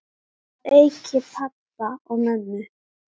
Að auki pabba og mömmu.